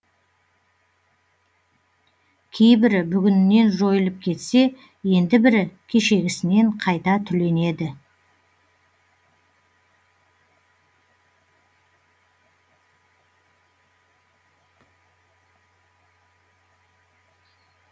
кейбірі бүгінінен жойылып кетсе енді бірі кешегісінен қайта түленеді